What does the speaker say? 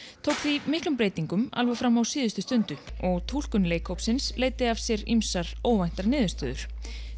tók því breytingum alveg fram á síðustu stundu og túlkun leikhópsins leiddi af sér ýmsar óvæntar niðurstöður